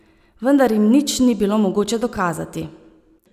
Vendar jim nič ni bilo mogoče dokazati.